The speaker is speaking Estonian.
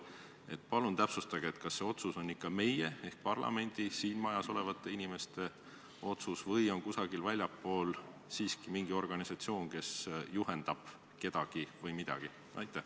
Palun täpsustage, kas see otsus on meie ehk parlamendi, st siin majas olevate inimeste otsus või on kusagil väljapool siiski mingi organisatsioon, kes juhendab kedagi või midagi?